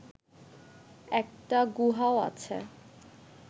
একটা গুহাও আছে